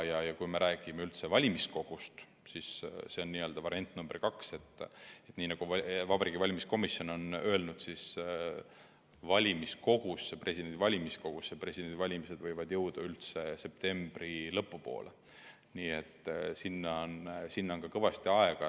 Ja kui me räägime valimiskogust, see on variant nr 2, siis nii nagu Vabariigi Valimiskomisjon on öelnud, võivad valimiskogusse presidendivalimised jõuda üldse septembri lõpu poole, nii et sinna on kõvasti aega.